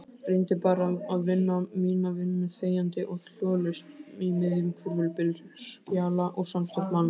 Reyndi bara að vinna mína vinnu þegjandi og hljóðalaust í miðjum hvirfilbyl skjala og samstarfsmanna.